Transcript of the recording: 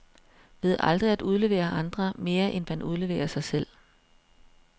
Ved aldrig at udlevere andre, mere end man udleverer sig selv.